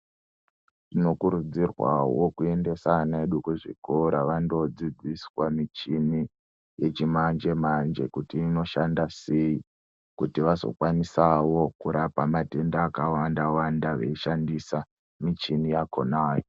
Tinokurudzirwa wo kuekuendesa vana vedu kuzvikora vanodzidziswa muchini yechimanje manje kuti inoshanda sei kuti vazokwanisawo kurapa matenda akawanda wanda vechishandisa muchini yakhona yo.